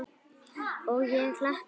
Og ég hlakka til.